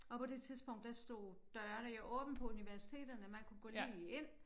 Og på det tidspunkt der stod dørene jo åbne på universiteterne man kunne gå lige ind